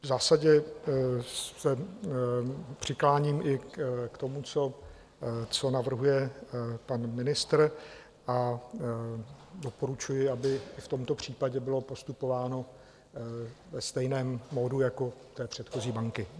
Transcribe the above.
V zásadě se přikláním i k tomu, co navrhuje pan ministr, a doporučuji, aby v tomto případě bylo postupováno ve stejném módu jako u předchozí banky.